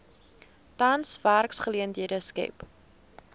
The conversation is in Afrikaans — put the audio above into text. tans werksgeleenthede skep